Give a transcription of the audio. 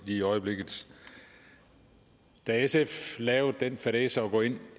i øjeblikket da sf lavede den fadæse at gå ind